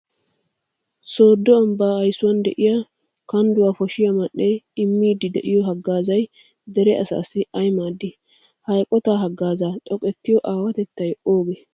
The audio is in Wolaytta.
Sooddo ambbaa aysuwan de'iya kandduwa poshiyo man"ee immiiddi de'iyo haggaazay dere asaassi ay maaddii? Ha eqotaa haggaazaa xoqqettiyo aawatettay oogee?